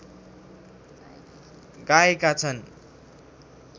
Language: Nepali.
गाएका छन्